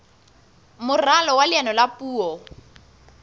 moralo wa leano la puo